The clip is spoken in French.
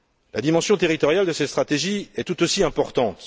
La dimension territoriale de ces stratégies est tout aussi importante.